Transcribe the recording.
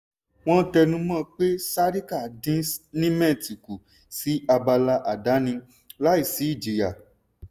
wọ́n tẹnumọ́ pé sarika dín nimet kù sí abala àdáni láì sí ìjìyà.